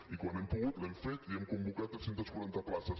i quan hem pogut l’hem fet i hem convocat tres cents i quaranta places